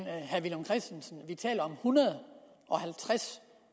herre villum christensen at vi taler om en hundrede og halvtreds